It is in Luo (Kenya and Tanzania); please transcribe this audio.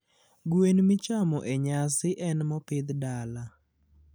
gwen michamo e nyasi en mopidh dala